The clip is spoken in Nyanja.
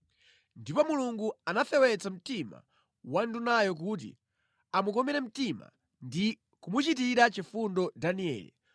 Ndipo Mulungu anafewetsa mtima wa ndunayo kuti amukomere mtima ndi kumuchitira chifundo Danieli,